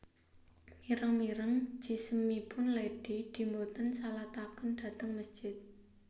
Mireng mireng jisimipun Lady Di mboten disalataken dhateng mesjid